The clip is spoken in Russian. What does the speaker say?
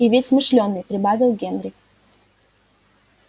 и ведь смышлёный прибавил генри